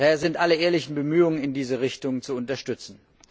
Daher sind alle ehrlichen Bemühungen in diese Richtung zu unterstützen.